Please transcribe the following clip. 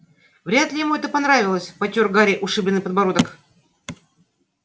вряд ли ему это понравилось потёр гарри ушибленный подбородок